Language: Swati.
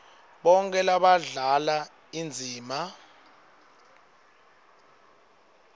bonkhe labadlala indzima